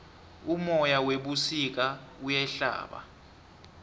umoya webusika uyahlaba